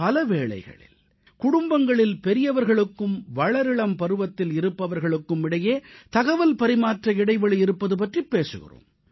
பல வேளைகளில் குடும்பங்களில் பெரியவர்களுக்கும் வளரிளம் பருவத்தில் இருப்பவர்களுக்கும் இடையே தகவல்பரிமாற்ற இடைவெளி இருப்பது பற்றிப் பேசுகிறோம்